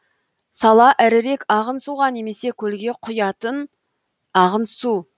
сала ірірек ағын суға немесе көлге құятын ағын су